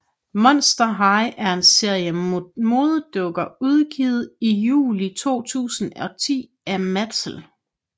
Monster High er en serie modedukker udgivet i juli 2010 af Mattel